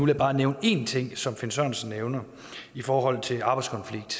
jeg bare nævne én ting som finn sørensen nævner i forhold til arbejdskonflikt